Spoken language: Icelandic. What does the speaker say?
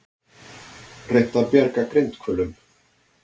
Reynt að bjarga grindhvölum